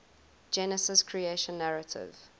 genesis creation narrative